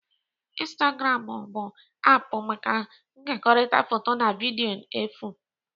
Instagram bụ aapụ maka nkekọrịta foto na vidiyo efu